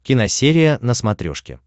киносерия на смотрешке